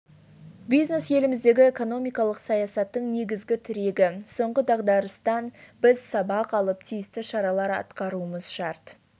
бизнес еліміздегі экономикалық саясаттың негізгі тірегі соңғы дағдарыстан біз сабақ алып тиісті шаралар атқаруымыз шарт